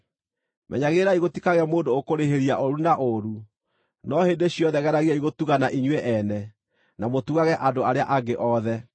Menyagĩrĩrai gũtikagĩe mũndũ ũkũrĩhĩria ũũru na ũũru, no hĩndĩ ciothe geragiai gũtugana inyuĩ-ene, na mũtugage andũ arĩa angĩ othe.